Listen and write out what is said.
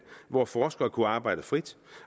hvor forskere kunne arbejde frit